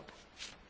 In that